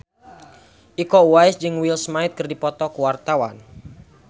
Iko Uwais jeung Will Smith keur dipoto ku wartawan